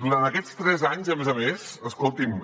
durant aquests tres anys a més a més escolti’m